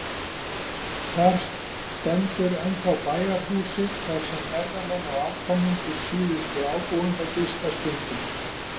Þar stendur ennþá bæjarhúsið, þar sem ferðamenn og afkomendur síðustu ábúenda gista stundum.